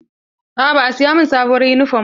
Aa ba a siya min sabuwar yunifom ba.